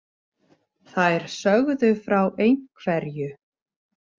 Þær sögðu frá ein- hverju.